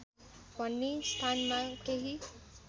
भन्ने स्थानमा केही